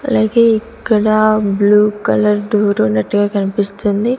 అలాగే ఇక్కడ blue colour door ఉన్నట్టుగా కన్పిస్తుంది.